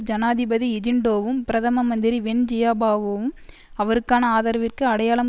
ஜனாதிபதி ஹிஜின்டோவும் பிரதம மந்திரி வென் ஜியாபாவோவும் அவருக்கான ஆதரவிற்கு அடையாளம்